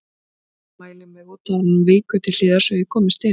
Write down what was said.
Mamma mælir mig út áður en hún víkur til hliðar svo ég komist inn.